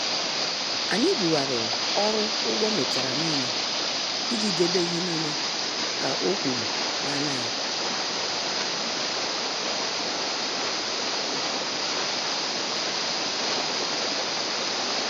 Anyị bughariri ọrụ ụgwọ metara nile iji debe ihe nile ka ọ kwuru n' anya ya.